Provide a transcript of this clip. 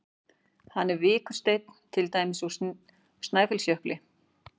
Hvað er vikursteinn, til dæmis úr Snæfellsjökli?